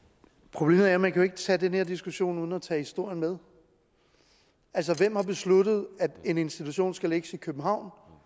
problemet er at man jo ikke kan tage den her diskussion uden at tage historien med altså hvem har besluttet at en institution skal lægges i københavn